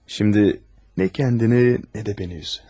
Şimdi ne kendini, ne de beni üz.